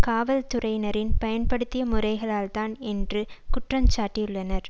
காவல் துறையினரின் பயன்படுத்திய முறைகளால் தான் என்று குற்றஞ் சாட்டியுள்ளனர்